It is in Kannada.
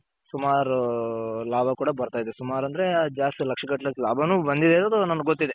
ಸುಮಾರು ಲಾಭ ಕೂಡ ಬರ್ತಾ ಇದೆ ಸುಮಾರ್ ಅಂದ್ರೆ ಜಾಸ್ತಿ ಲಕ್ಷ ಗಟ್ಟಲೆ ಅಷ್ಟ್ ಲಾಭನು ಬಂದಿರೋದು ನನಗ್ ಗೊತ್ತಿದೆ.